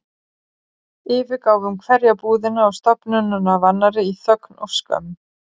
Yfirgáfum hverja búðina og stofnunina af annarri í þögn og skömm.